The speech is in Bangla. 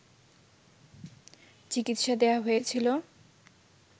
চিকিৎসা দেয়া হয়েছিল